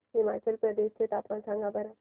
हिमाचल प्रदेश चे तापमान सांगा बरं